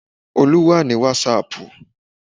Olú wà ní wàsààpù